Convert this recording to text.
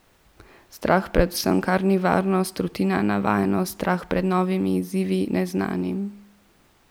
Strah pred vsem, kar ni varnost, rutina, navajenost, strah pred novimi izzivi, neznanim.